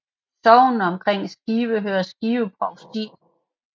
Sognene omkring Skive hører til Skive Provsti